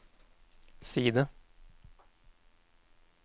side